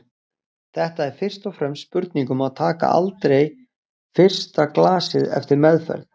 Þetta er fyrst og fremst spurning um að taka aldrei fyrsta glasið eftir meðferð.